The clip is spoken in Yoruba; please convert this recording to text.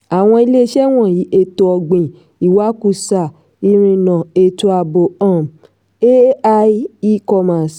àwọn iléeṣẹ́ wọ̀nyí: ètò-ọ̀gbìn ìwakùsà ìrìnà ètò ààbò um ai e-commerce